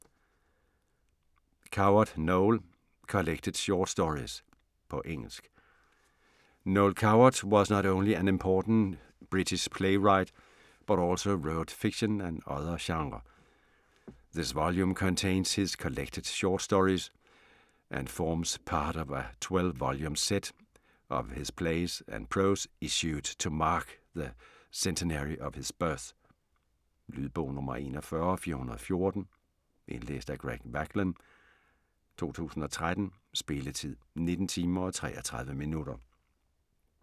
Coward, Noel: Collected short stories På engelsk. Noel Coward was not only an important British playwright, but also wrote fiction and other genre. This volume contains his collected short stories, and forms part of a 12 volume set of his plays and prose issued to mark the centenary of his birth. Lydbog 41419 Indlæst af Greg Wagland, 2013. Spilletid: 19 timer, 33 minutter.